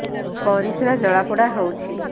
ପରିସ୍ରା ଜଳାପୋଡା ହଉଛି